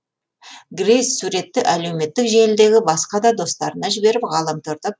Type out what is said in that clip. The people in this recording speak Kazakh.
грейс суретті әлеуметтік желідегі басқа да достарына жіберіп ғаламторда